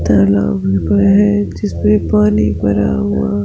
तालाब है जिसमे पानी भरा हुआ--